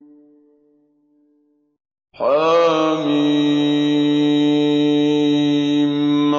حم